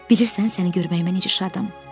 Bilirsən səni görməyimə necə şadam?